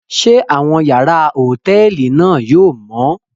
Ṣe awọn yàrá hotẹẹli náà yóò mọ?